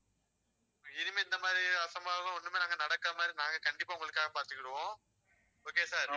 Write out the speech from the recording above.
இனிமே இந்த மாரி, அசம்பாவிதம், ஒண்ணுமே நாங்க நடக்காம நாங்க கண்டிப்பா உங்களுக்காக பாத்துக்கிடுவோம் okay யா sir